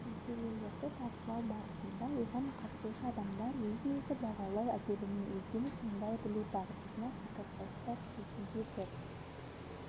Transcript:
мәселелерді талқылау барысында оған қатысушы адамдар өзін-өзі бағалау әдебіне өзгені тыңдай білу дағдысына пікірсайыстар кезінде бір